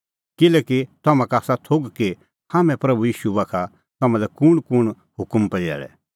किल्हैकि तम्हां का आसा थोघ कि हाम्हैं प्रभू ईशू बाखा तम्हां लै कुंणकुंण हुकम पजैल़ै